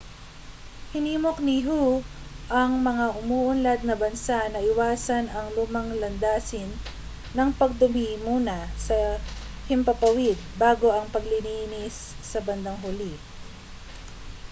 hinimok ni hu ang mga umuunlad na bansa na iwasan ang lumang landasin ng pagdumi muna sa himpapawid bago ang paglilinis sa bandang huli